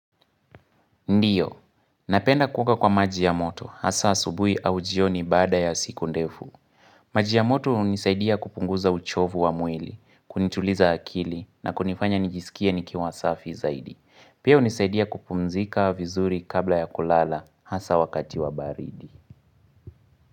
Ndiyo, napenda kukaa kwa maji ya moto, hasa asubuhi au jioni baada ya siku ndefu. Maji ya moto hunisaidia kupunguza uchovu wa mwili, kunituliza akili, na kunifanya nijisikie nikiwa safi zaidi. Pia hunisaidia kupumzika vizuri kabla ya kulala, hasa wakati wa baridi.